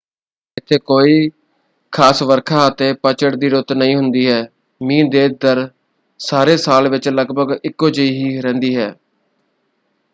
ਇੱਥੇ ਕੋਈ ਖਾਸ ਵਰਖਾ ਅਤੇ ਪਤਝੜ ਦੀ ਰੁੱਤ ਨਹੀਂ ਹੁੰਦੀ ਹੈ: ਮੀਂਹ ਦੀ ਦਰ ਸਾਰੇ ਸਾਲ ਵਿੱਚ ਲਗਭਗ ਇਕੋ-ਜਿਹੀ ਹੀ ਰਹਿੰਦੀ ਹੈ।